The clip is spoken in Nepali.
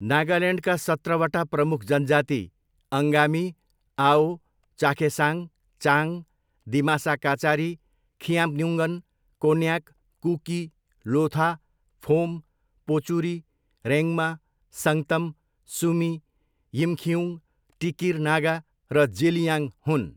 नागाल्यान्डका सत्रवटा प्रमुख जनजाति अङ्गामी, आओ, चाखेसाङ, चाङ, दिमासा काचारी, खिआम्न्युङ्गन, कोन्याक, कुकी, लोथा, फोम, पोचुरी, रेङ्मा, सङ्गतम, सुमी, यिमखिउङ, टिकिर नागा र जेलियाङ हुन्।